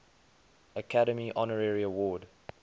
academy honorary award